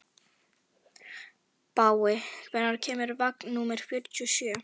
Baui, hvenær kemur vagn númer fjörutíu og sjö?